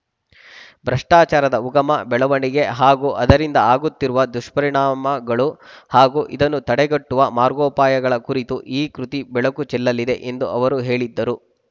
ಭ್ರಷ್ಟಾಚಾರದ ಉಗಮ ಬೆಳವಣಿಗೆ ಹಾಗೂ ಅದರಿಂದ ಆಗುತ್ತಿರುವ ದುಷ್ಪರಿಣಾಗಳು ಹಾಗೂ ಇದನ್ನು ತಡೆಗಟ್ಟುವ ಮಾರ್ಗೋಪಾಯಗಳ ಕುರಿತು ಈ ಕೃತಿ ಬೆಳುಕು ಚೆಲ್ಲಲಿದೆ ಎಂದು ಅವರು ಹೇಳಿದ್ದರು